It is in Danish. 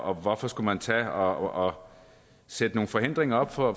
og hvorfor skulle man tage og sætte nogle forhindringer op for